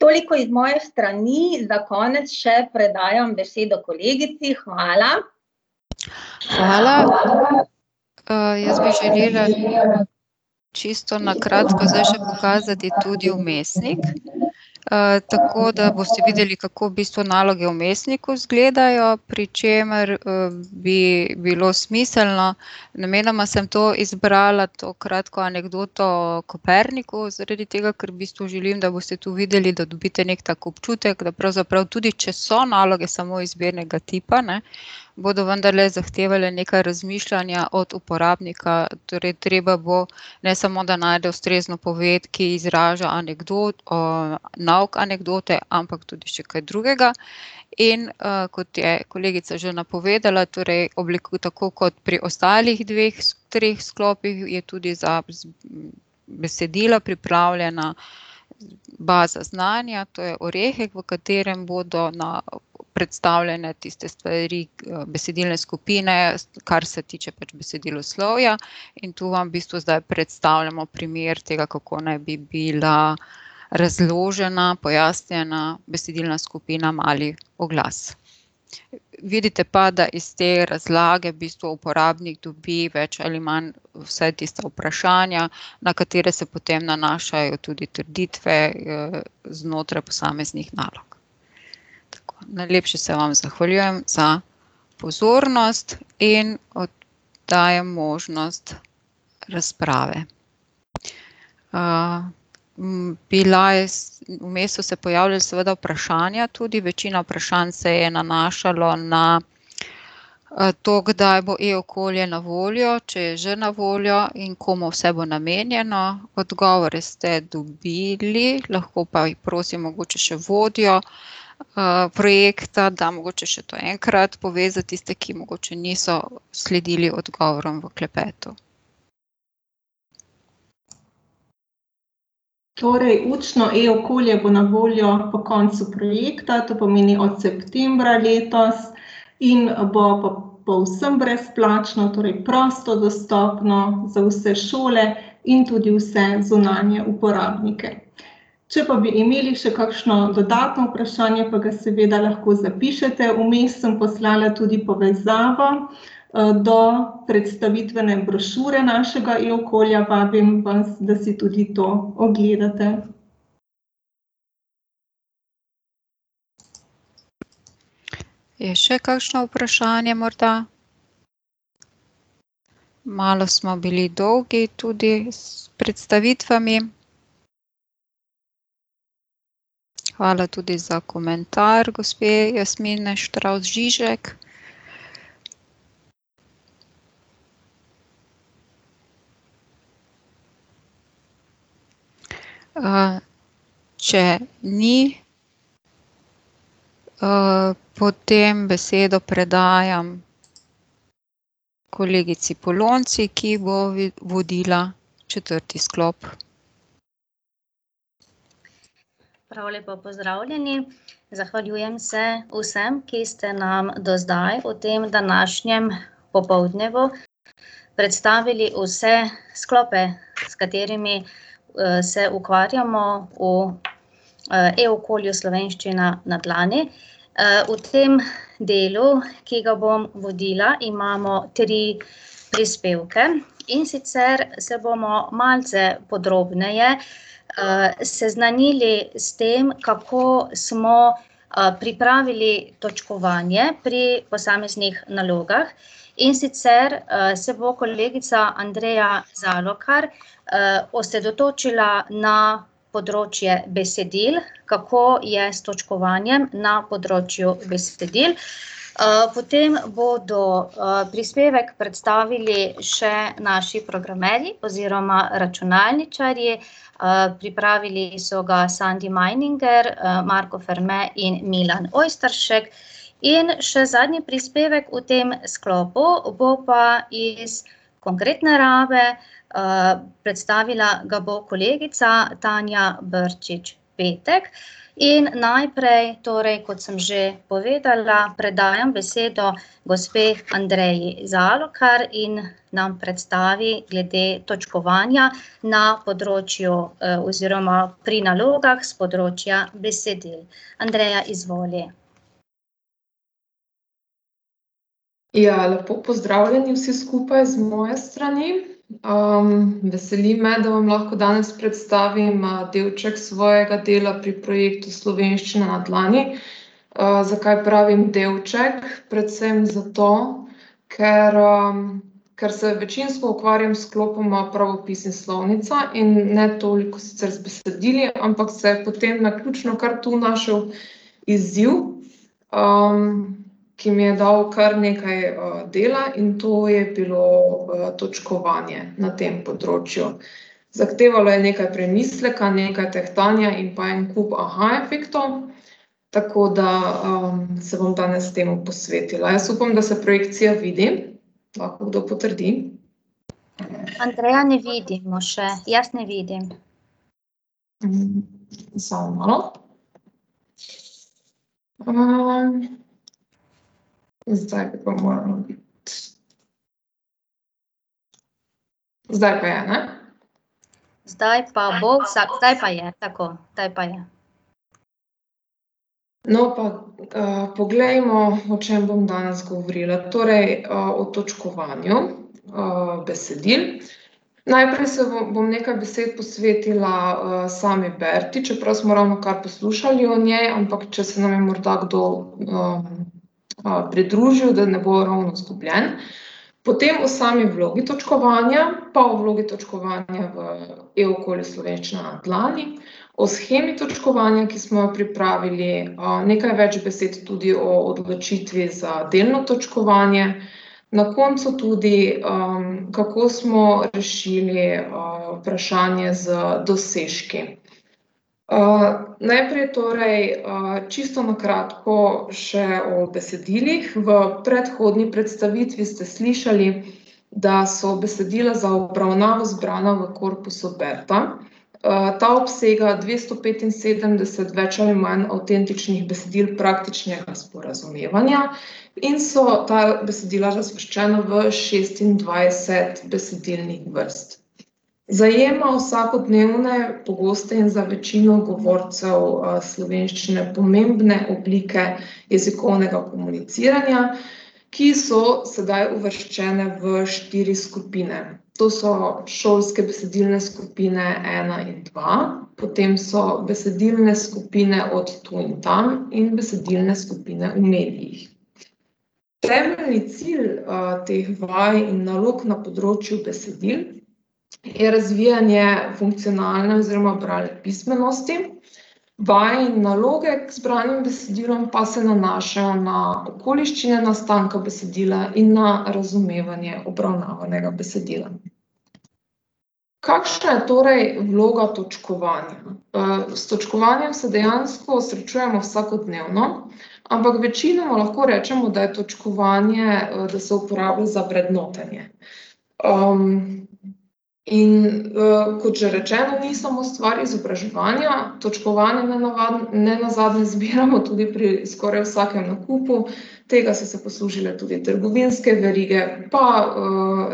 Toliko iz moje strani, za konec še predajam besedo kolegici, hvala. Hvala. jaz bi želela, čisto na kratko zdaj še pokazati tudi vmesnik, tako da boste videli, kako v bistvu naloge v vmesniku izgledajo, pri čemer, bi bilo smiselno, namenoma sem to izbrala to kratko anekdoto o Koperniku, zaradi tega, ker v bistvu želim, da boste tu videli, da dobite neki tak občutek, da pravzaprav tudi če so naloge samo izbirnega tipa, ne, bodo vendarle zahtevale nekaj razmišljanja od uporabnika, torej, treba bo ne samo, da najde ustrezno poved, ki izraža nauk anekdote, ampak tudi še kaj drugega. In, kot je kolegica že napovedala, torej tako kot pri ostalih dveh treh sklopih je tudi za besedila pripravljena baza znanja, to je Orehek, v katerem bodo predstavljene tiste stvari, besedilne skupine, kar se tiče pač besediloslovja, in to vam v bistvu zdaj predstavljamo primer tega, kako naj bi bila razložena, pojasnjena besedilna skupina mali oglas. Vidite pa, da iz te razlage v bistvu uporabnik dobi več ali manj vsaj tista vprašanja, na katere se potem nanašajo tudi trditve, znotraj posameznih nalog. Tako, najlepše se vam zahvaljujem za pozornost in dajem možnost razprave. bila je vmes so se pojavila seveda vprašanja tudi, večina vprašanj se je nanašalo na, to, kdaj bo e-okolje na voljo, če je že na voljo in komu vse bo namenjeno, odgovore ste dobili, lahko pa prosim mogoče še vodjo, projekta, da mogoče še to enkrat pove za tiste, ki mogoče niso sledili odgovorom v klepetu. Torej učno e-okolje bo na voljo po koncu projekta, to pomeni od septembra letos, in bo povsem brezplačno, torej prosto dostopno za vse šole in tudi vse zunanje uporabnike. Če pa bi imeli še kakšno dodatno vprašanje, pa ga seveda lahko zapišete, vmes sem poslala tudi povezavo, do predstavitvene brošure našega e-okolja, vabim vas, da si tudi to ogledate. Je še kakšno vprašanje morda? Malo smo bili dolgi tudi s predstavitvami. Hvala tudi za komentar gospe [ime in priimek]. če ni, potem besedo predajam kolegici Polonci, ki bo vodila četrti sklop. Prav lepo pozdravljeni. Zahvaljujem se vsem, ki ste nam do zdaj v tem današnjem popoldnevu predstavili vse sklope, s katerimi, se ukvarjamo v, e-okolju Slovenščina na dlani. v tem delu, ki ga bom vodila, imamo tri prispevke, in sicer se bomo malce podrobneje, seznanili s tem, kako smo, pripravili točkovanje pri posameznih nalogah. In sicer, se bo kolegica Andreja Zalokar osredotočila na področje besedil, kako je s točkovanjem na področju besedil. potem bodo, prispevek predstavili še naši programerji oziroma računalničarji, pripravili so ga Sandi Majninger, Marko Ferme in Milan Ojstršek. In še zadnji prispevek v tem sklopu bo pa iz konkretne narave, predstavila ga bo kolegica Tanja Brčič Petek. In najprej, torej kot sem že povedala, predajam besedo gospe Andreji Zalokar in nam predstavi glede točkovanja na področju, oziroma pri nalogah s področja besedil. Andreja, izvoli. Ja, lepo pozdravljeni vsi skupaj z moje strani. veseli me, da vam lahko danes predstavim, delček svojega dela pri projektu Slovenščina na dlani. zakaj pravim delček? Predvsem zato, ker, ker se večinsko ukvarjam s sklopoma pravopis in slovnica in ne toliko sicer z besedili, ampak se je potem naključno kar tu našel izziv, ki mi je dal kar nekaj, dela, in to je bilo, točkovanje na tem področju. Zahtevalo je nekaj premisleka, nekaj tehtanja in pa en kup aha efektov. Tako da, se bom danes temu posvetila, jaz upam, da se projekcija vidi? Lahko kdo potrdi? Andreja, ne vidimo še, jaz ne vidim. samo malo. zdaj bi pa moralo biti. Zdaj pa je, ne? Zdaj pa bo vsak ... Zdaj pa je tako, zdaj, pa je. No, pa, poglejmo, o čem bom danes govorila, torej, o točkovanju, besedil. Najprej se bom nekaj besed posvetila, sami Berti, čeprav smo ravnokar poslušali o njej, ampak če se nam je morda kdo, pridružil, da ne bo ravno zgubljen. Potem o sami vlogi točkovanja pa o vlogi točkovanja v e-okolju Slovenščina na dlani, o shemi točkovanja, ki smo jo pripravili, nekaj več besed tudi o odločitvi za delno točkovanje, na koncu tudi, kako smo rešili, vprašanje z dosežki. najprej torej, čisto na kratko še o besedilih, v predhodni predstavitvi ste slišali, da so besedila za obravnavo zbrana v korpusu Berta. ta obsega dvesto petinsedemdeset več ali manj avtentičnih besedil praktičnega sporazumevanja, in so ta besedila razvrščena v šestindvajset besedilnih vrst. Zajema vsakodnevne, pogoste in za večino govorcev, slovenščine pomembne oblike jezikovnega komuniciranja, ki so sedaj uvrščene v štiri skupine, to so šolske besedilne skupine ena in dva, potem so besedilne skupine od tu in tam in besedilne skupine v medijih. Temeljni cilj, teh vaj in nalog na področju besedil je razvijanje funkcionalne oziroma bralne pismenosti. Vaje in naloge k zbranim besedilom pa se nanašajo na okoliščine nastanka besedila in na razumevanje obravnavanega besedila. Kakšna je torej vloga točkovanja? s točkovanjem se dejansko srečujemo vsakodnevno, ampak večinoma lahko rečemo, da je točkovanje, da se uporablja za vrednotenje. in, kot že rečeno, ni samo stvar izobraževanja, točkovanje nenazadnje zbiramo tudi pri skoraj vsakim nakupu, tega so se poslužile tudi trgovinske verige pa,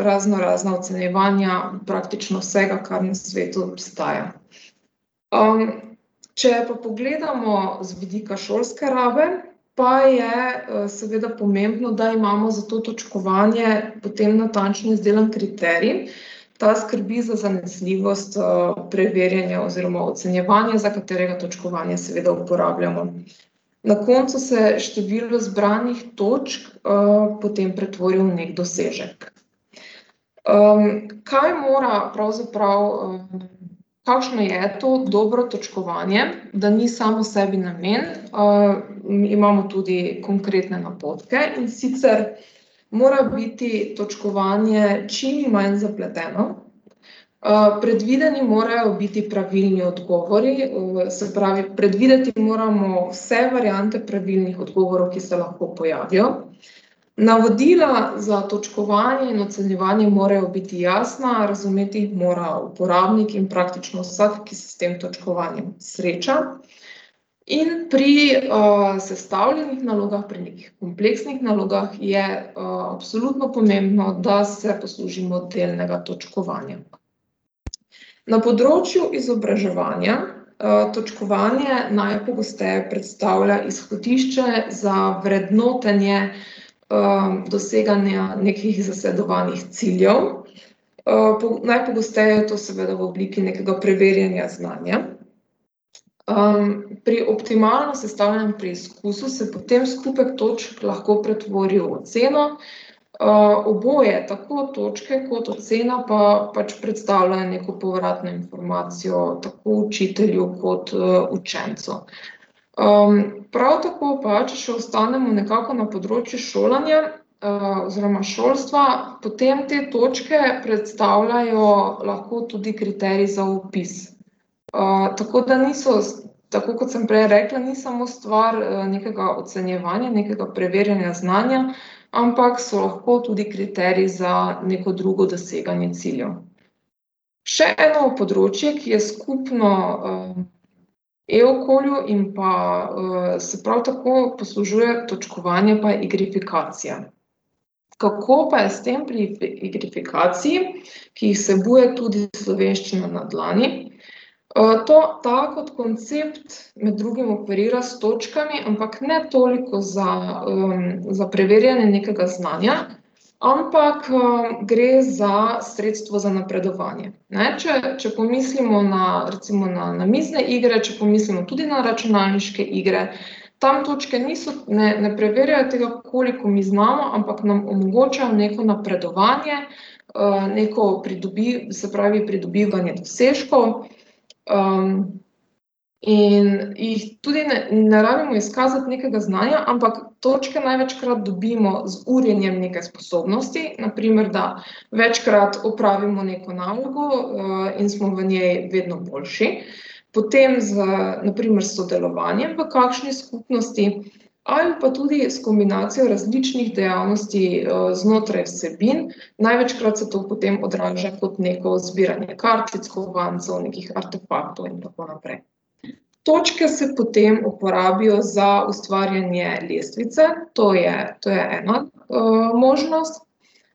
raznorazna ocenjevanja praktično vsega, kar na svetu obstaja. če pa pogledamo z vidika šolske rabe, pa je, seveda pomembno, da imamo za to točkovanje potem natančno izdelan kriterij. Ta skrbi za zanesljivost, preverjanja oziroma ocenjevanja, za katerega točkovanje seveda uporabljamo. Na koncu se število zbranih točk, potem pretvori v neki dosežek. kaj mora pravzaprav, ... Kakšno je to dobro točkovanje, da ni samo sebi namen, imamo tudi konkretne napotke, in sicer mora biti točkovanje čim manj zapleteno, predvideni morajo biti pravilni odgovori se pravi, predvideti moramo vse variante pravilnih odgovorov, ki se lahko pojavijo. Navodila za točkovanje in ocenjevanje morajo biti jasna, razumeti jih mora uporabnik in praktično vsak, ki se s tem točkovanjem sreča. In pri, sestavljenih nalogah, pri nekih kompleksnih nalogah je, absolutno pomembno, da se poslužimo delnega točkovanja. Na področju izobraževanja, točkovanje najpogosteje predstavlja izhodišče za vrednotenje, doseganja nekih zasledovanih ciljev. najpogosteje je to seveda v obliki nekega preverjanja znanja. pri optimalno sestavljenem preizkusu se potem skupek točk lahko pretvori v oceno, oboje, tako točke kot ocena, pa pač predstavljajo neko povratno informacijo, tako učitelju kot, učencu. prav tako pa, če še ostanemo nekako na področju šolanja, oziroma šolstva, potem te točke predstavljajo lahko tudi kriterij za opis. tako da niso tako kot sem prej rekla, ni samo stvar, nekega ocenjevanja, nekega preverjanja znanja, ampak so lahko tudi kriteriji za neko drugo doseganje ciljev. Še eno področje, ki je skupno, e-okolju in pa, se prav tako poslužuje točkovanja, pa je igrifikacija. Kako pa je s tem pri igrifikaciji, ki jih vsebuje tudi Slovenščina na dlani? ta kot koncept med drugim operira s točkami, ampak ne toliko za, za preverjanje nekega znanja, ampak, gre za sredstvo za napredovanje, ne, če, če pomislimo na, recimo na namizne igre, če pomislimo tudi na računalniške igre, tam točke niso, ne, ne preverjajo tega, koliko mi znamo, ampak nam omogočajo neko napredovanje, neko se pravi, pridobivanje dosežkov, in jih tudi ne rabimo izkazati nekega znanja, ampak točke največkrat dobimo z urjenjem neke sposobnosti, na primer, da večkrat opravimo neko nalogo, in smo v njej vedno boljši, potem z, na primer s sodelovanjem v kakšni skupnosti ali pa tudi s kombinacijo različnih dejavnosti, znotraj vsebin, največkrat se to potem odraža kot neko zbiranje kartic, kovancev, nekih artefaktov in tako naprej. Točke se potem uporabijo za ustvarjanje lestvice, to je, to je ena, možnost,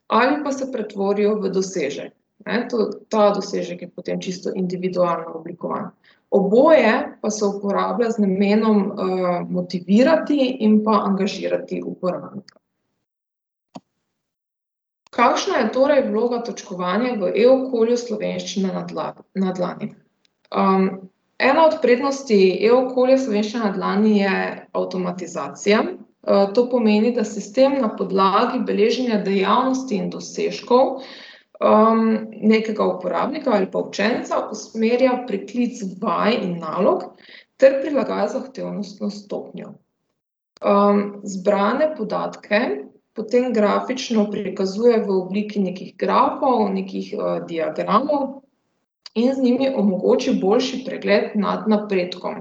ali pa se pretvorijo v dosežek, ne, to, ta dosežek je potem čisto individualno oblikovan. Oboje pa se uporablja z namenom, motivirati in pa angažirati uporabnika. Kakšna je torej vloga točkovanja v e-okolju Slovenščina na na dlani? ena od prednosti e-okolja Slovenščina na dlani je avtomatizacija, to pomeni, da sistem na podlagi beleženja dejavnosti dosežkov, nekega uporabnika ali pa učenca usmerja priklic vaj in nalog ter prilagaja zahtevnostno stopnjo. zbrane podatke potem grafično prikazuje v obliki nekih grafov, nekih, diagramov in z njimi omogoči boljši pregled nad napredkom.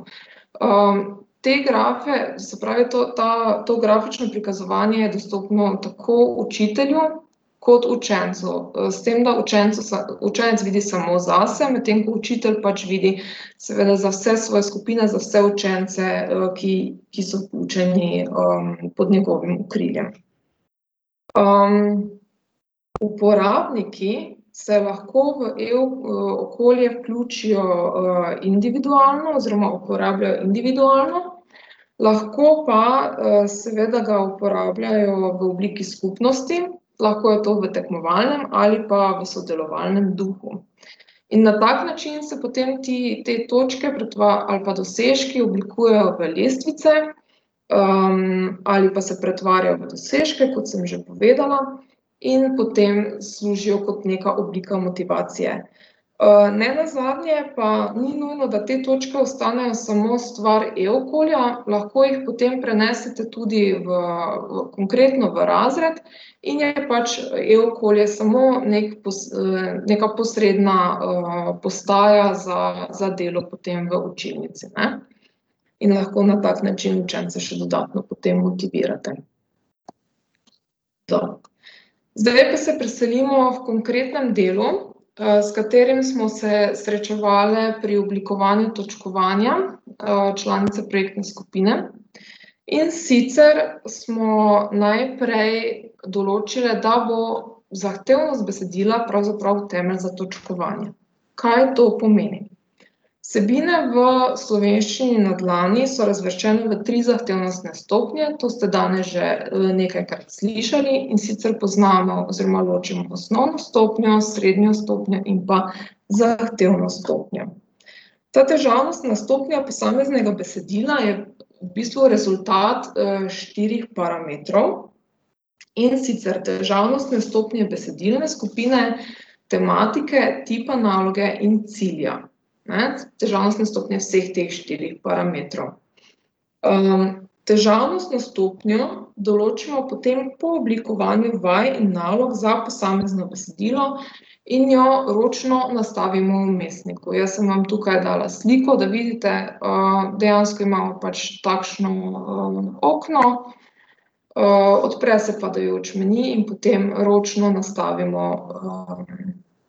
te grafe, se pravi, to, ta, to grafično prikazovanje je dostopno tako učitelju kot učencu, s tem da učencu učenec vidi samo zase, medtem ko učitelj pa vidi seveda za vse svoje skupine, za vse učence, ki, ki so vključeni, pod njegovim okriljem. uporabniki se lahko v e-o(), e-okolje vključijo, individualno oziroma uporabljajo individualno, lahko pa, seveda ga uporabljajo v obliki skupnosti, lahko je to v tekmovalnem ali pa v sodelovalnem duhu. In na tak način se potem ti, te točke ali pa dosežki oblikujejo v lestvice, ali pa se pretvarjajo v dosežke, kot sem že povedala. In potem služijo kot neka oblika motivacije. nenazadnje pa ni nujno, da te točke ostanejo samo stvar e-okolja, lahko jih potem prenesete tudi v, konkretno v razred in je pač, e-okolje samo neki neka posredna, postaja za, za delo potem v učilnici, ne. In lahko na tak način učence še dodatno potem motivirate. Zdaj pa se preselimo h konkretnemu delu, s katerim smo se srečevale pri oblikovanju točkovanja, članice projektne skupine. In sicer smo najprej določile, da bo zahtevnost besedila pravzaprav temelj za točkovanje. Kaj to pomeni? Vsebine v Slovenščini na dlani so razvrščene v tri zahtevnostne stopnje, to ste danes že, nekajkrat slišali, in sicer poznamo oziroma ločimo osnovno stopnjo, srednjo stopnjo in pa zahtevno stopnjo. Ta težavnost na stopnji posameznega besedila je v bistvu rezultat, štirih parametrov, in sicer težavnostne stopnje besedilne skupine, tematike, tipa naloge in cilja. Ne, težavnostne stopnje vseh teh štirih parametrov. težavnostno stopnjo določimo potem po oblikovanju vaj in nalog za posamezno besedilo in jo ročno nastavimo v vmesniku, jaz sem vam tukaj dala sliko, da vidite, dejansko imamo pač takšno, okno, odpre se padajoč meni in potem ročno nastavimo,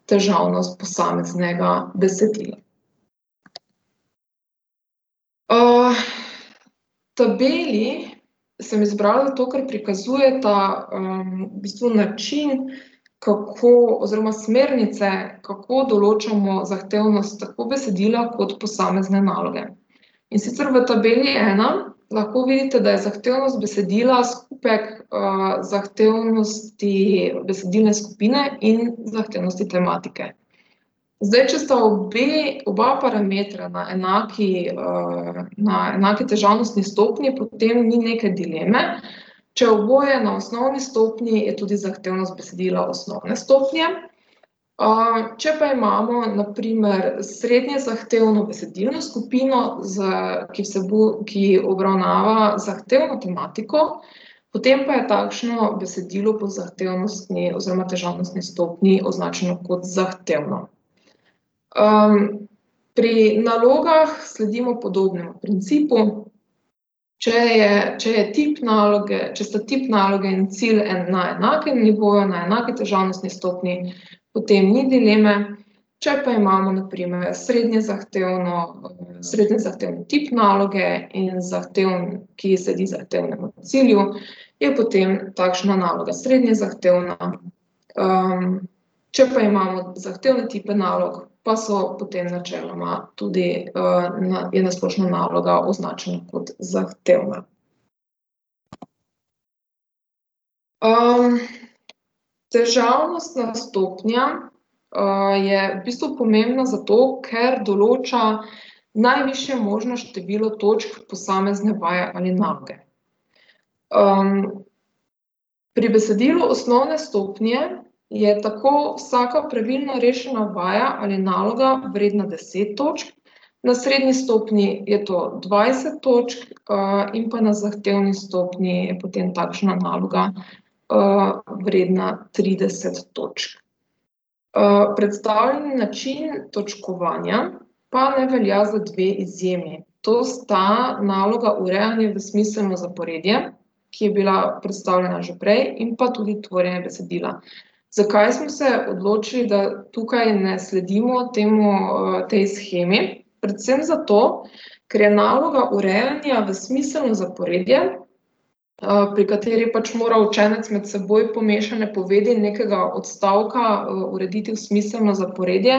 težavnost posameznega besedila. v tabeli sem izbrala to, kar prikazujeta, v bistvu način, kako, oziroma smernice, kako določamo zahtevnost tako besedila kot posamezne naloge. In sicer v Tabeli ena lahko vidite, da je zahtevnost besedila skupek, zahtevnosti besedilne skupine in zahtevnosti tematike. Zdaj če sta obe, oba parametra na enaki, na, na enaki težavnostni stopnji, potem ni neke dileme, če je oboje na osnovni stopnji, je tudi zahtevnost besedila osnovne stopnje. če pa imamo, na primer, srednje zahtevno besedilno skupino z, ki ki obravnava zahtevno tematiko, potem pa je takšno besedilo po zahtevnostni oziroma težavnostni stopnji označeno kot zahtevno. pri nalogah sledimo podobnemu principu. Če je, če je tip naloge, če sta tip naloge in cilj na enakem nivoju, na enaki težavnostni stopnji, potem ni dileme, če pa imamo na primer srednje zahtevno, srednje zahteven tip naloge in zahteven, ki sledi zahtevnemu cilju, je potem takšna naloga srednje zahtevna, če pa imamo zahtevne tipe nalog, pa so potem načeloma tudi, je na splošno naloga označena kot zahtevna. težavnostna stopnja, je v bistvu pomembna zato, ker določa najvišje možno število točk posamezne vaje ali naloge. pri besedilu osnovne stopnje je tako vsaka pravilno rešena vaja ali naloga vredna deset točk, na srednji stopnji je to dvajset točk, in pa na zahtevni stopnji je potem takšna naloga, vredna trideset točk. predstavljeni način točkovanja pa ne velja za dve izjemi, to sta naloga urejanja v smiselno zaporedje, ki je bila predstavljena že prej, in pa tudi tvorjenje besedila. Zakaj smo se odločili, da tukaj ne sledimo temu, tej shemi? Predvsem zato, ker je naloga urejanja v smiselno zaporedje, pri kateri pač mora učenec med seboj pomešane povedi nekega odstavka, urediti v smiselno zaporedje,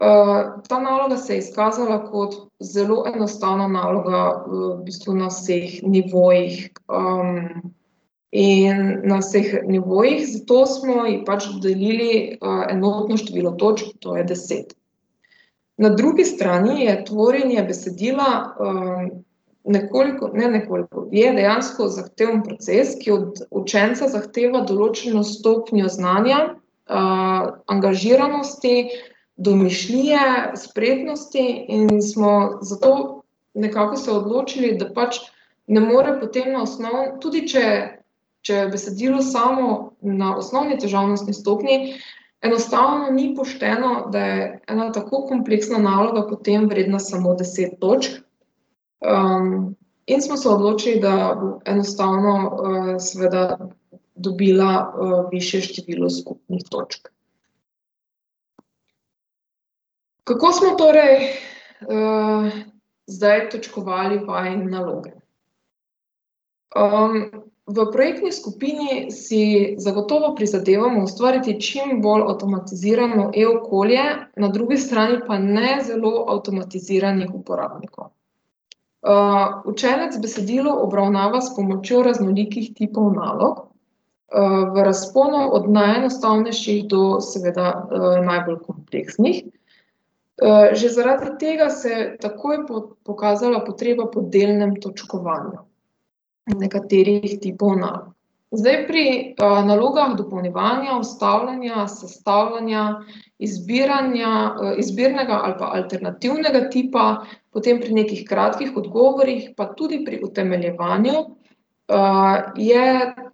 ta naloga se je izkazala kot zelo enostavna naloga, v bistvu na vseh nivojih, in na vseh nivojih, zato smo ji pač dodelili, enotno število točk, to je deset. Na drugi strani je tvorjenje besedila, nekoliko, ne nekoliko, je dejansko zahteven proces, ki od učenca zahteva določeno stopnjo znanja, angažiranosti, domišljije, spretnosti, in smo zato nekako se odločili, da pač ne more potem na tudi če, če je besedilo samo na osnovni težavnostni stopnji, enostavno ni pošteno, da je ena tako kompleksna naloga potem vredna samo deset točk. in smo se odločili, da enostavno, seveda dobila, višje število skupnih točk. Kako smo torej, zdaj točkovali vaje in naloge? v projektni skupini si zagotovo prizadevamo ustvariti čim bolj avtomatizirano e-okolje, na drugi strani pa ne zelo avtomatiziranih uporabnikov. učenec besedilo obravnava s pomočjo raznolikih tipov nalog, v razponu od najenostavnejših do seveda, najbolj kompleksnih. že zaradi tega se je takoj pokazala potreba po delnem točkovanju nekaterih tipov nalog. Zdaj, pri, nalogah dopolnjevanja, vstavljanja, sestavljanja, izbiranja, izbirnega ali pa alternativnega tipa, potem pri nekih kratkih odgovorih, pa tudi pri utemeljevanju, je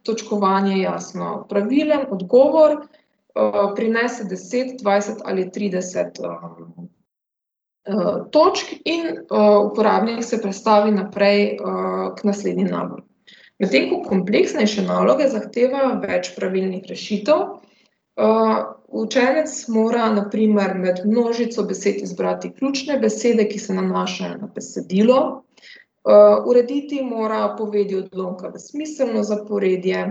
točkovanje jasno. Pravilen odgovor, prinese deset, dvajset ali trideset, točk in, uporabnik se prestavi naprej, k naslednji nalogi. Medtem ko kompleksnejše naloge zahtevajo več pravilnih rešitev, učenec mora na primer med množico besed izbrati ključne besede, ki se nanašajo na besedilo, urediti mora povedi odlomka v smiselno zaporedje,